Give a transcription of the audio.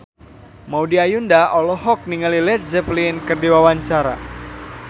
Maudy Ayunda olohok ningali Led Zeppelin keur diwawancara